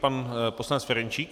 Pan poslanec Ferjenčík.